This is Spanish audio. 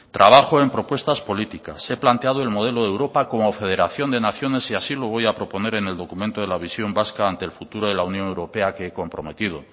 trabajo en propuestas políticas he planteado el modelo de europa como federación de naciones y así lo voy a proponer en el documento de la visión vasca ante el futuro de la unión europea que he comprometido